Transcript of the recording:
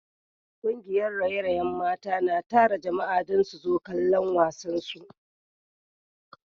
Kungiyar raye-rayen mata na tara jama’a domin su zo kallon wasansu